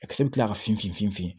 A kisɛ bɛ tila ka finfin fin fin